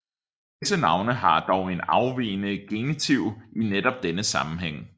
Visse navne har dog en afvigende genitiv i netop denne sammenhæng